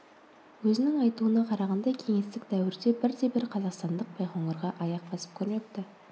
өзінің айтуына қарағанда кеңестік дәуірде бірде бір қазақстандық байқоңырға аяқ басып көрмепті